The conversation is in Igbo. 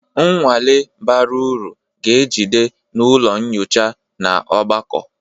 Nnwale bara uru ga-ejide n'ụlọ nyocha na ogbako